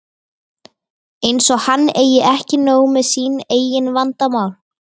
Eins og hann eigi ekki nóg með sín eigin vandamál!